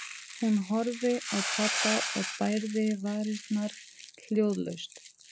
Hún horfði á pabba og bærði varirnar hljóðlaust.